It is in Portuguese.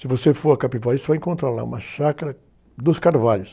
Se você for a Capivari, você vai encontrar lá uma chácara dos Carvalhos.